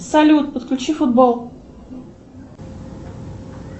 салют подключи футбол